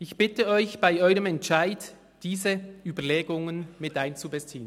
Ich bitte Sie, bei Ihrem Entscheid diese Überlegungen miteinzubeziehen.